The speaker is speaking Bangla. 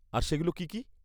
-আর সেগুলো কী কী?